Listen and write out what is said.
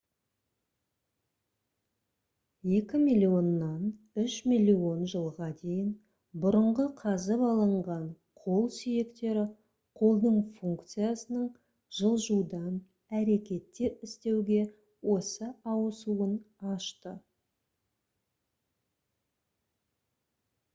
екі миллионнан үш миллион жылға дейін бұрынғы қазып алынған қол сүйектері қолдың функциясының жылжудан әрекеттер істеуге осы ауысуын ашты